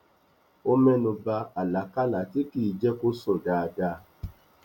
ó mẹnuba àlákálà tí kìí jẹ kó sùn dáadáa